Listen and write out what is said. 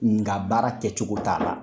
Nga baara kɛcogo t'a la.